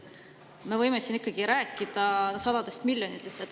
Me võime siin rääkida sadadest miljonitest.